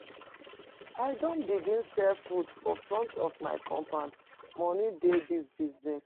I don begin sell fruit for front of my compound, moni dey di business.